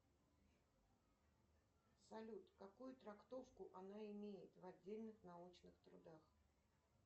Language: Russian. салют какую трактовку она имеет в отдельных научных трудах